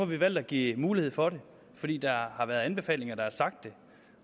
vi valgt at give mulighed for det fordi der har været anbefalinger der har sagt det